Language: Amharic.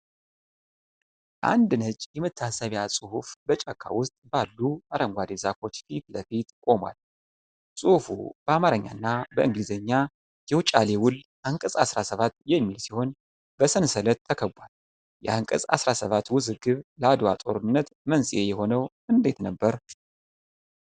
አንድ ነጭ የመታሰቢያ ጽሁፍ በጫካ ውስጥ ባሉ አረንጓዴ ዛፎች ፊት ለፊት ቆሟል። ጽሁፉ በአማርኛና በእንግሊዘኛ "የውጫሌ ውል አንቀጽ 17" የሚል ሲሆን በሰንሰለት ተከቧል። የአንቀጽ 17 ውዝግብ ለዓድዋ ጦርነት መንስኤ የሆነው እንዴት ነበር?